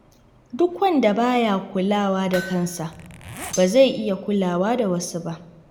Duk wanda ba ya kulawa da kansa, ba zai iya kula da wasu ba.